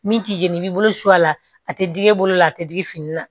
Min t'i jeni i b'i bolo su a la a tɛ digi i bolo la a tɛ digi fini na